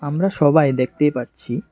আমরা সবাই দেখতেই পারছি।